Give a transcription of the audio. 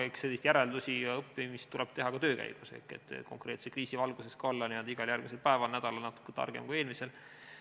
Eks selliseid järeldusi ja õppimist tuleb teha ka töö käigus, et konkreetse kriisi valguses olla n-ö igal järgmisel päeval ja nädalal natuke targem kui eelmisel.